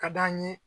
Ka d'an ye